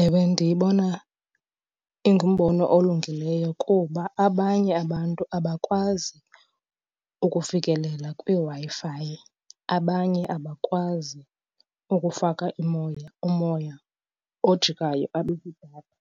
Ewe, ndiyibona ingumbono olungileyo kuba abanye abantu abakwazi ukufikelela kwiWi-Fi, abanye abakwazi ukufaka umoya ojikayo abe yidatha.